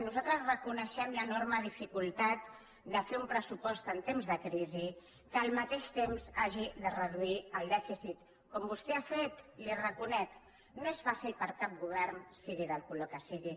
nosal tres reconeixem l’enorme dificultat de fer un pressupost en temps de crisi que al mateix temps hagi de reduir el dèficit com vostè ha fet li ho reconec no és fàcil per a cap govern sigui del color que sigui